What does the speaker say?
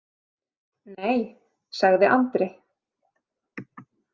Nei, sagði Andri.